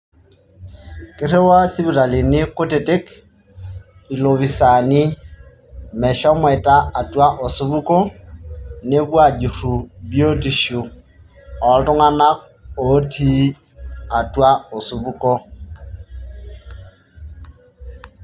Kiriiwaa sipitalini kutitik ilopisaani meshomoita atua osupuko nepuo aajuru biotisho ooltung'anak otiii atua osupuko